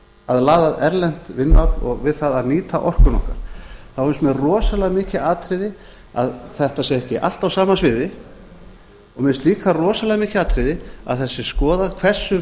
að laða að erlent vinnuafl og við það að nýta orkuna okkar finnst mér rosalega mikið atriði að þetta sé ekki allt á sama sviði og mér finnst líka rosalega mikið atriði að það sé skoðað hversu